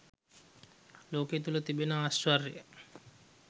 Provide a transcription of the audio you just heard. ලෝකය තුළ තිබෙන ආශ්චර්ය